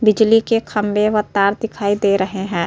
बिजली के खंबे व तार दिखाई दे रहे हैं।